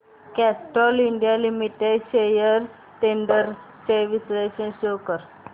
Castrol India Limited shares trends चे विश्लेषण show कर